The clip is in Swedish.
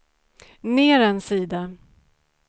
ner en sida